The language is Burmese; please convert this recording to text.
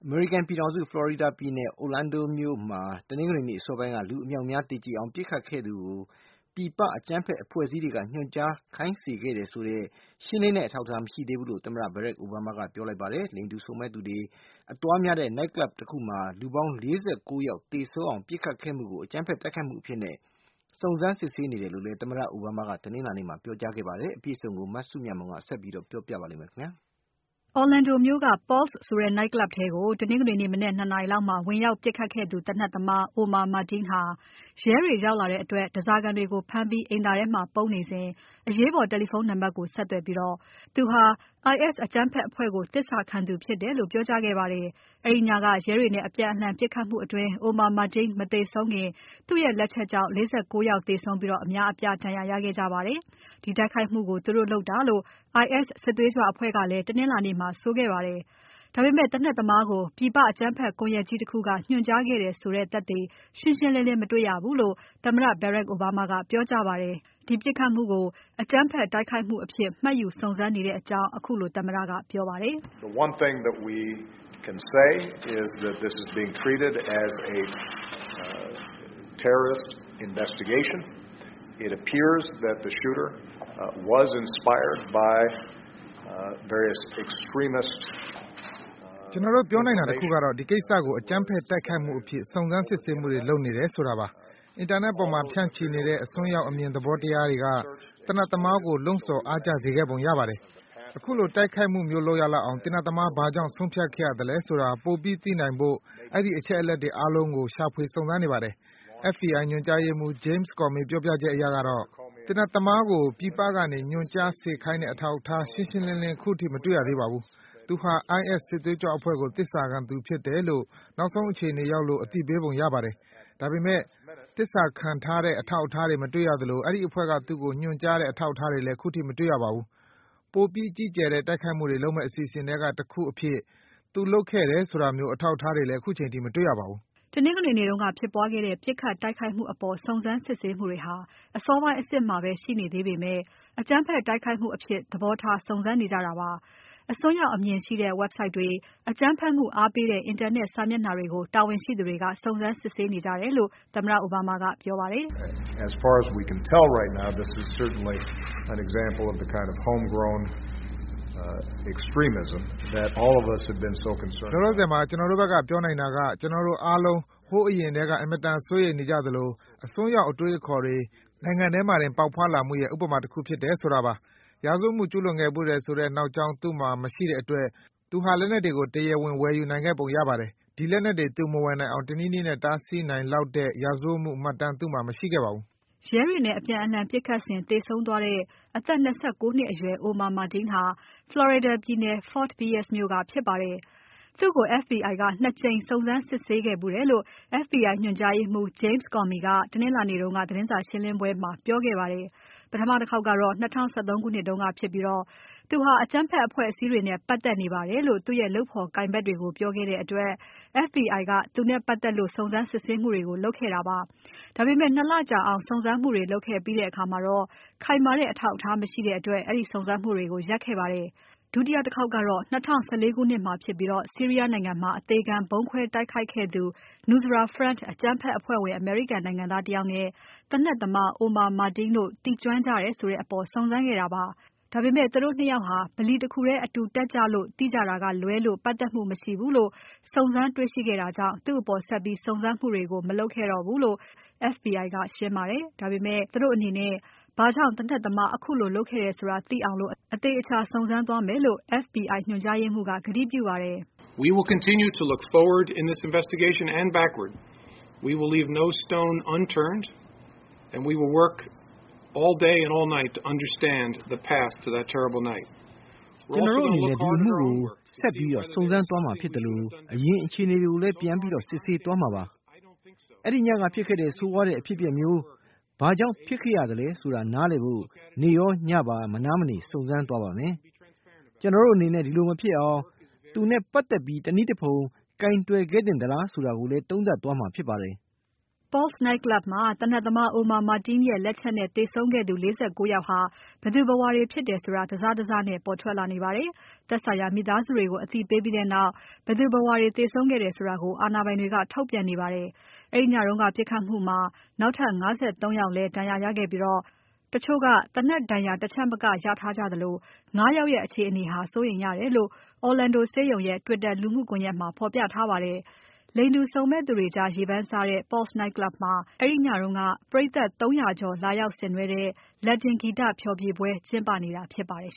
မေရိကန်ပြည်ထောင်စု Florida ပြည်နယ် Orlando မြို့မှာ တနင်္ဂနွေနေ့ အစောပိုင်းက လူအမြောက်အများသေကြေအောင် ပြစ်ခတ်ခဲ့သူကို ပြည်ပ အကြမ်းဖက်အဖွဲ့အစည်းတွေက ညွှန်ကြား ခိုင်းစေခဲ့တယ်ဆိုတဲ့ ရှင်းလင်းတဲ့ အထောက်အထား မရှိသေးဘူးလို့ သမ္မတ Barack Obama က ပြောလိုက်ပါတယ်။ လိင်တူ စုံမက်သူတွေ အသွားများတဲ့ Night club တခုမှာ လူပေါင်း ၄၉ ယောက် သေဆုံးအောင် ပြစ်ခတ်ခဲ့မှုကို အကြမ်းဖက် တိုက်ခိုက်မှုအဖြစ်နဲ့ စုံစမ်း စစ်ဆေးနေတယ်လို့ သမ္မတ Obama က တနင်္လာနေ့မှာ ပြောကြားခဲ့ပါတယ်။ အပြည့်အစုံကို မစုမြတ်မွန်က ဆက်ပြီး ပြောပြပါလိမ့်မယ်။ Orlando မြို့က Pulse ဆိုတဲ့ Night Club ထဲကို တနင်္ဂနွေနေ့ မနက် ၂ နာရီ လောက် မှာ ဝင်ရောက်ပြစ်ခတ်ခဲ့သူ သေနတ်သမား Omar Mateen ဟာ ရဲတွေရောက်လာတဲ့အတွက် ဓားစားခံတွေကို ဖမ်းပြီး အိမ်သာထဲမှာ ပုန်းနေစဉ် အရေးပေါ် တယ်လီဖုန်း နံပါတ်ကို ဆက်သွယ်ပြီး သူဟာ IS အကြမ်းဖက်အဖွဲ့ကို သစ္စာခံသူဖြစ်တယ်လို့ ပြောကြားခဲ့ပါတယ်။ အဲဒီညက ရဲတွေနဲ့အပြန်အလှန် ပြစ်ခတ်မှုအတွင်း Omar Mateen မသေဆုံးခင် သူ့ရဲ့လက်ချက်ကြောင့် ၄၉ ယောက်သေဆုံးပြီး အများအပြားဒဏ်ရာရခဲ့ကြတာပါ။ ဒီတိုက်ခိုက်မှုကို သူတို့လုပ်တာလို့ IS စစ်သွေးကြွအဖွဲ့က တနင်္လာနေ့မှာ ဆိုခဲ့ပါတယ်။ ဒါပေမဲ့ သေနတ်သမားကို ပြည်ပ အကြမ်းဖက်ကွန်ယက်ကြီးတခုက ညွှန်ကြားခဲ့တယ်ဆိုတဲ့ သက်သေ ရှင်းရှင်းလင်းလင်း မတွေ့ရသေးဘူးလို့ သမ္မတ Barack Obama က ပြောကြားခဲ့ပါတယ်။ ဒါပေမဲ့ ဒီပြစ်ခတ်မှုကို အကြမ်းဖက်တိုက်ခိုက်မှုအဖြစ် မှတ်ယူ စုံစမ်း စစ်ဆေးနေတဲ့အကြောင်း ခုလို သမ္မတကပြောပါတယ်။ ”ကျွန်တော်တို့ ပြောနိုင်တာ တခုကတော့ ဒီကိစ္စကို အကြမ်းဖက် တိုက်ခိုက်မှုအဖြစ် စုံစမ်း စစ်ဆေးမှုတွေ လုပ်နေတယ်ဆိုတာပါ၊ အင်တာနက်ပေါ်မှာ ဖြန့်ချီနေတဲ့ အစွန်းရောက်အမြင် သဘောတရားတွေက သေနတ်သမားကို လှုံဆော် အားကျစေခဲ့ပုံရပါတယ်။ ခုလို တိုက်ခိုက်မှုမျိုး လုပ်ရလောက်အောင် သေနတ်သမား ဘာကြောင့် ဆုံးဖြတ်ခဲ့ရသလဲဆိုတာ ပိုပြီးသိနိုင်ဖို့ အဲဒီအချက်အလက်တွေ အားလုံးကို ရှာဖွေစုံစမ်းနေပါတယ်။ FBI ညွှန်ကြားရေးမှူး James Comey ပြောပြချက် အရ ကတော့ သေနတ်သမားကို ပြည်ပကနေ ညွှန်ကြား ခိုင်းစေတဲ့ အထောက်အထား ရှင်းရှင်းလင်းလင်း အခုထိ မတွေ့ရသေးပါဘူး။ သူဟာ IS စစ်သွေးကြွအဖွဲ့ကို သစ္စာခံသူဖြစ်တယ်လို့ နောက်ဆုံး အခြေအနေရောက်လို့ အသိပေးပုံရပါတယ်။ ဒါပေမဲ့ သစ္စာခံထားတဲ့ အထောက်အထားတွေ မတွေ့ရသလို အဲဒီအဖွဲ့က သူ့ကို ညွှန်ကြားတဲ့ အထောက်အထားတွေလဲ ခုထိ မတွေ့ရပါဘူး။ ပိုပြီးကြီးကျယ်တဲ့ တိုက်ခိုက်မှုတွေ လုပ်မဲ့ အစီအစဉ်ထဲက တခုအဖြစ် သူလုပ်ခဲ့တယ် ဆိုတာမျိုး အထောက်အထားတွေလဲ ခုချိန်အထိ မတေ့ွရပါဘူး။” တနင်္ဂနွေနေ့က ဖြစ်ပွားခဲ့တဲ့ ပြစ်ခတ်တိုက်ခိုက်မှုအပေါ် စုံစမ်းစစ်ဆေးမှုတွေဟာ အစောပိုင်းအဆင့်မှာပဲ ရှိနေသေးပေမဲ့ အကြမ်းဖက်တိုက်ခိုက်မှုအဖြစ် သဘောထားစုံစမ်းနေကြတာပါ၊ အစွန်းရောက်အမြင်ရှိတဲ့ Website တွေ၊ အကြမ်းဖက်မှုအားပေးတဲ့ အင်တာနက်စာမျက်နှာတွေကို တာဝန်ရှိသူတွေက စုံစမ်းစစ်ဆေးနေကြတယ်လို့ သမ္မတအိုဘားမားက ပြောပါတယ်။ “လောလောဆယ်မှာ ကျွန်တော်တို့ဖက်က ပြောနိုင်တာက ကျွန်တော်တို့အားလုံး ဟိုးအရင်ထဲက အင်မတန် စိုးရိမ်နေကြသလို အစွန်းရောက် အတွေးအခေါ်တွေ နိုင်ငံထဲမှာတင် ပေါက်ဖွားလာမှုရဲ့ ဥပမာ တခုဖြစ်တယ် ဆိုတာပါ။ ရာဇဝတ်မှုကျူးလွန်ခဲ့ဖူးတယ်ဆိုတဲ့ နောက်ကြောင်း သူ့မှာ မရှိတဲ့အတွက် သူဟာ လက်နက်တွေကို တရားဝင်ဝယ်ယူနိုင်ခဲ့ပုံရပါတယ်။ ဒီလက်နက်တွေ သူမဝယ်နိုင်အောင် တနည်းနည်းနဲ့ တားဆီးနိုင်လောက်တဲ့ ရာဇဝတ်မှု မှတ်တမ်း သူ့မှာ မရှိခဲ့ပါဘူး။” ရဲတွေနဲ့ အပြန်အလှန်ပြစ်ခတ်စဉ် သေဆုံသွားတဲ့ အသက် ၂၉ နှစ်အရွယ် Omar Mateen ဟာ Florida ပြည်နယ် Fort Pierce မြို့ကဖြစ်ပါတယ်။ သူ့ကို FBI က ၂ ကြိမ် စုံစမ်းစစ်ဆေးခဲ့ဖူးတယ်လို့ FBI ညွှန်ကြားရေးမှူး James Comey က တနင်္လာနေ့က သတင်းစာရှင်းပွဲမှာ ပြောခဲ့ပါတယ်။ ပထမတခေါက်က ၂၀၁၃ ခုနှစ်တုန်းကဖြစ်ပြီး သူဟာ အကြမ်းဖက် အဖွဲ့အစည်းတွေနဲ့ ပက်သက်နေပါတယ်လို့ သူ့ရဲ့ လုပ်ဖော်ကိုင်ဖက် တွေကို ပြောခဲ့တဲ့အတွက် FBI ကသူနဲ့ ပက်သက်လို့ စုံစမ်းစစ်ဆေးမှုတွေ လုပ်ခဲ့ပါတယ်။ ဒါပေမဲ့ ၂ လကြာစုံစမ်းစစ်ဆေးမှုတွေ လုပ်ပြီးတဲ့အခါ ခိုင်မာတဲ့ အထောက်အထားမရှိတဲ့အတွက် အဲဒီစုံစမ်းမှုကို ရပ်ခဲ့ပါတယ်။ ဒုတိယ တခေါက်ကတော့ ၂၀၁၄ခုနှစ် မှာဖြစ်ပြီး ဆီးရီးယား နိုင်ငံမှာ အသေခံ ဗုံးခွဲတိုက်ခိုက်ခဲ့သူ Nusra Front အကြမ်းဖက်အဖွဲ့ဝင် အမေရိကန်နိုင်ငံသား တယောက်နဲ့ သေနတ်သမား Omar Mateen တို့ သိကျွမ်းကြတယ် ဒါပေမဲ့ သူတို့ ၂ ယောက် ဗလီတခုထဲ အတူတက်ကြလို့ သိကြတာကလွဲလို့ ပါတ်သက်မှု မရှိဘူးလို့ စုံစမ်းတွေ့ရှိခဲ့တာကြောင့် သူ့အပေါ် ဆက်ပြီး စုံစမ်းမှုတွေ မလုပ်ခဲ့တာလို့ FBI ညွှန်ကြားရေးမှူး Jamea Comey က ရှင်းပါတယ်။ ဒါပေမဲ့ သူတို့အနေနဲ့ ဘာကြောင့် သေနတ်သမား ခုလို လုပ်ခဲ့တယ်ဆိုတာသိအောင် အသေအချာ စုံစမ်းသွားမယ်လို့ ဆိုပါတယ်။ “ကျွန်တော်တို့အနေနဲ့ ဒီအမှုကို ဆက်ပြီး စုံစမ်းသွားမှာဖြစ်သလို အရင် အခြေအနေတွေ ကိုလဲ ပြန်ပြီး စစ်ဆေးသွားမှာပါ။ အဲဒီညက ဖြစ်ခဲ့တဲ့ ဆိုးဝါးတဲ့ အဖြစ်အပျက်မျိုးဘာကြောင့် ဖြစ်ခဲ့ရသလဲဆိုတာ နားလည်နိုင်ဖို့ နေ့ရောညပါ မနားမနေ စုံစမ်းသွားပါမယ်။ ကျွန်တော်တို့အနေနဲ့ ဒီလို မဖြစ်အောင် သူနဲ့ပက်သက်ပြီး တနည်းတဖုံ ကိုင်တွယ်ခဲ့သင့်သလား ဆိုတာကိုလဲ သုံးသပ်သွားမှာ ဖြစ်ပါတယ်။” Pulse night club မှာ သေနတ်သမား Omar Mateen ရဲ့ လက်ချက်နဲ့ သေဆုံးခဲ့သူ ၄၉ ယောက်ဟာ ဘယ်သူ ဘယ်ဝါတွေ ဖြစ်တယ်ဆိုတာ တစစနဲ့ ပေါ်ထွက်လာ နေပါတယ်။ သက်ဆိုင်ရာ မိသားစုတွေကို အသိပေးပြီးတဲ့နောက် ဘယ်သူဘယ်ဝါ ဖြစ်တယ်ဆိုတာကို အာဏာပိုင်တွေက ထုတ်ပြန်နေပါတယ်။ အဲဒီညက ပြစ်ခတ်မှုမှာ နောက်ထပ် ၅၃ ယောက်လဲ ဒဏ်ရာရခဲ့ပြီး၊ တချို့က သေနတ် ဒဏ်ရာ တချက်မက ရရှိထားကြသလို ၅ ယောက်ရဲ့ အခြေအနေဟာ စိုးရိမ်ရတယ်လို့ Orlando ဆေးရုံရဲ့ Twitter လူမှုကွန်ယက်မှာ ဖော်ပြထားပါတယ်။ လိင်တူစုံမက်သူတွေကြား ရေပန်းစားတဲ့ Pulse night club မှာ အဲဒီညတုန်းက ပရိတ်သတ် ၃၀၀ ကျော်လာရောက်ဆင်နွဲတဲ့ Latin ဂီတဖျော်ဖြေပွဲ ကျင်းပ နေတာ ဖြစ်ပါတယ်